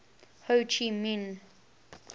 ho chi minh